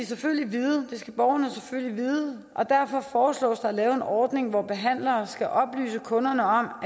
selvfølgelig vide og derfor foreslås det at lave en ordning hvor behandlere skal oplyse kunderne om